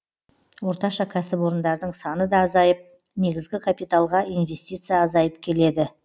орташа кәсіпорындардың саны да азайып негізгі капиталға инвестиция азайып келеді